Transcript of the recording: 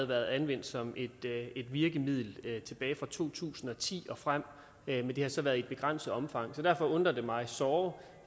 været anvendt som et virkemiddel tilbage fra to tusind og ti og frem men det har så været i et begrænset omfang så derfor undrer det mig såre